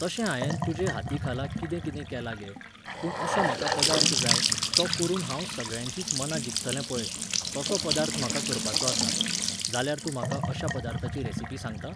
तशें हांयेन तुजे हातीखाला कितें कितें केलां गे, पूण असो म्हाका पदार्थ जाय, तो करून हांव सगळ्यांचीच मनां जिखतलें पळय, तसो पदार्थ म्हाका करपाचो आसा. जाल्यार तूं म्हाका अश्या पदार्थाची रेसीपी सांगता?